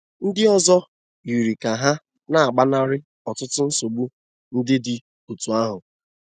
Ndị ọzọ yiri ka ha na-agbanarị ọtụtụ nsogbu ndị dị otú ahụ.